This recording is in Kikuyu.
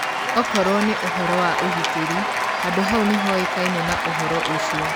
Akorũo nĩ ũhoro wa ũgitĩri, handũ hau nĩhoĩkaine na uhoro ũcio.